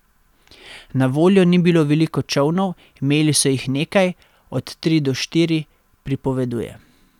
Na voljo ni bilo veliko čolnov, imeli so jih nekaj, od tri do štiri, pripoveduje.